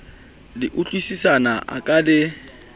le utlwisisana a ka le